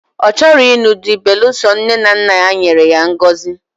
Ochoro inu di beluso nne na nna ya enyere ya ngozi.